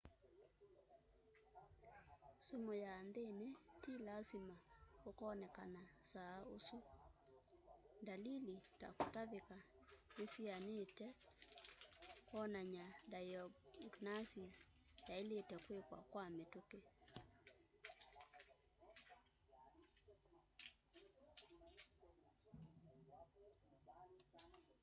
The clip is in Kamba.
sumu ya nthini ti lasima ukoneka saa isu dalili ta kutavika ni sianyite kunania diagnosis yailite kwikwa kwa mituki